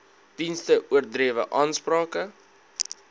dienste oordrewe aansprake